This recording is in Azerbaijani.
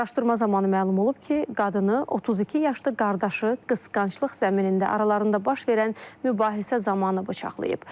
Araşdırma zamanı məlum olub ki, qadını 32 yaşlı qardaşı qısqanclıq zəminində aralarında baş verən mübahisə zamanı bıçaqlayıb.